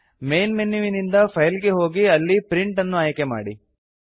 main ಮೆನುವಿನಿಂದ file ಗೆ ಹೋಗಿ ಅಲ್ಲಿ ಪ್ರಿಂಟ್ ಅನ್ನು ಆಯ್ಕೆ ಮಾಡಿ